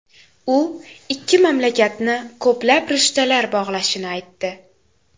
U ikki mamlakatni ko‘plab rishtalar bog‘lashini aytdi.